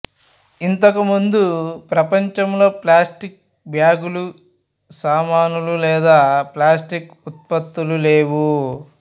ఇంతకు ముందు ప్రపంచంలో ప్లాస్టిక్ బ్యాగులు సామానులు లేదా ప్లాస్తిక్ ఉత్పత్తులు లేవు